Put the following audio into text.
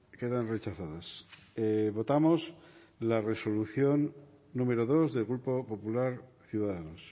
quedan rechazadas votamos la resolución número dos del grupo popular ciudadanos